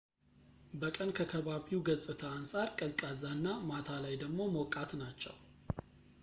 በቀን ከከባቢው ገፅታ አንፃር ቀዝቃዛ እና ማታ ላይ ደሞ ሞቃት ናቸው